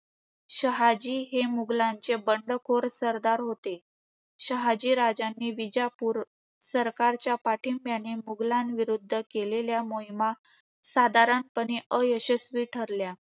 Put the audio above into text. शहाजी हे मुघलांचे बंडखोर सरदार होते. शहाजीराजांनी विजापूर सरकारच्या पाठींब्याने मुघलाविरुद्ध केलेल्या मोहिमा साधारणपणे अयशस्वी ठरल्या.